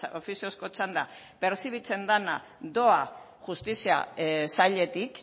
ofiziozko txanda perzibitzen dena doa justizia sailetik